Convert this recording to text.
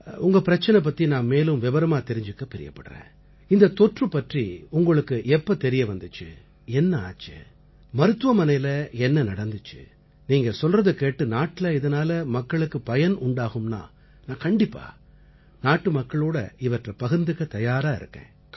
உங்க பிரச்சனை பத்தி நான் மேலும் விபரமா தெரிஞ்சுக்க பிரியப்படறேன் இந்தத் தொற்று பற்றி உங்களுக்கு எப்ப தெரிய வந்திச்சு என்ன ஆச்சு மருத்துவமனையில என்ன நடந்திச்சு நீங்க சொல்றதைக் கேட்டு நாட்டுல இதனால மக்களுக்கு பயன் உண்டாகும்னா நான் கண்டிப்பா நாட்டுமக்களோட இவற்றை பகிர்ந்துக்க தயாரா இருக்கேன்